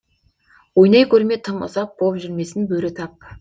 ойнай көрме тым ұзап боп жүрмесін бөрі тап